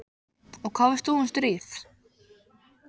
Og hvað veist þú um stríð?